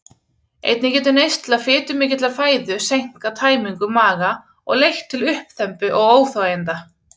Einnig getur neysla fitumikillar fæðu seinkað tæmingu maga og leitt til uppþembu og óþæginda.